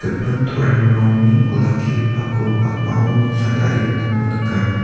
gipin toromrangni olakkigipako pakmao noksa tarie donako nika.